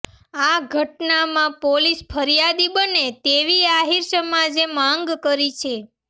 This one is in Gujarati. આ ઘટનામાં પોલીસ ફરિયાદી બને તેવી આહીર સમાજે માગ કરી છે